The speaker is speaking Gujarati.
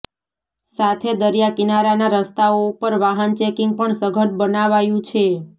સાથે દરિયા કિનારાના રસ્તાઓ ઉપર વાહન ચેકિંગ પણ સઘન બનાવાયંુ છે